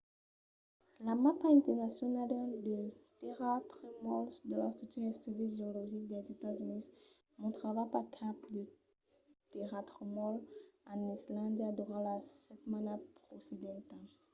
la mapa internacionala de tèrratremols de l’institut d’estudis geologics dels estats units mostrava pas cap de tèrratremols en islàndia durant la setmana precedenta